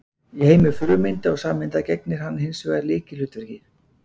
í heimi frumeinda og sameinda gegnir hann hins vegar lykilhlutverki